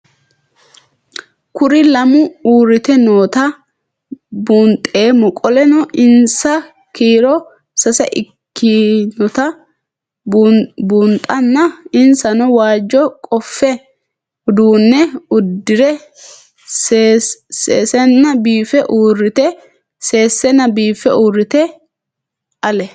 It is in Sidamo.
Kuri lamu uurite noota buunxemo qoleno insa kiiro sase ikinotana bunxana insano waajo qofe udune udire sesena biife urite ale